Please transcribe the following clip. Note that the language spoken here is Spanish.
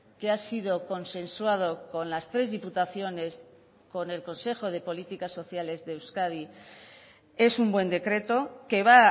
que ha sido consensuado con las tres diputaciones con el consejo de políticas sociales de euskadi es un buen decreto que va